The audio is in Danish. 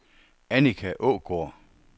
Annika Aagaard